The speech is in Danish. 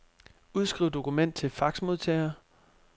Udskriv dokument til faxmodtager.